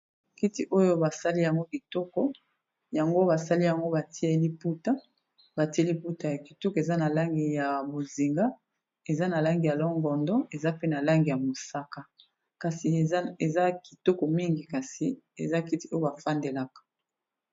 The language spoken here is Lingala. Kiti oyo ba sali yango kitoko yango ba sali yango ba tie liputa. Ba tie liputa ya kitoko eza na langi ya bozinga eza na langi ya lon-gondo eza pe na langi ya mosaka. Kasi eza kitoko mingi kasi eza kiti oyo ba fandelaka.